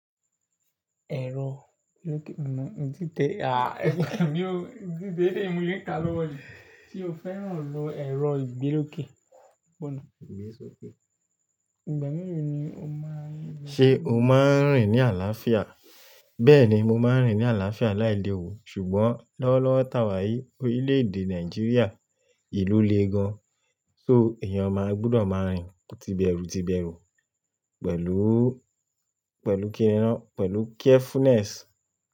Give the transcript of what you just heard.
Ẹ̀rọ ìgbélókè, mo ìdí té à, ẹ̀mí ò, ìdí té lẹ́mú yín ka ló wọlé. Tí o fẹ́ràn lò ẹ̀rọ ìgbélókè, bọ́nà. Ìgbésókè. Ìgbà mìíràn ni o máa ń rìn. Ṣé o máa ń rìn ní àlàáfíà? Bẹ́ẹ̀ ni, mo máa ń rìn ní àlàáfíà láìle wu Ṣùgbọ́n lọ́wọ́lọ́wọ́ tàwà yìí orílè-èdè Nàìjíríà ìlú le gan. So èèyàn máa gbúdọ̀ máa rìn tíbẹ̀rùtíbẹ̀rù pẹ̀lú, pẹ̀lú kíni rán, pẹ̀lú carefulness.